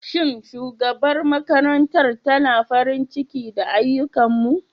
Shin shugabar makarantar tana farin ciki da ayyukanmu?